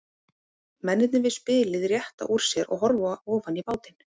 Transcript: Mennirnir við spilið rétta úr sér og horfa ofan í bátinn.